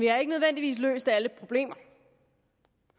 har ikke nødvendigvis løst alle problemer